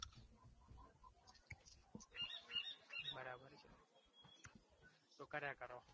તો કર્યા કરો